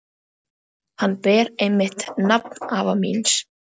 Hann ber einmitt nafn afa míns.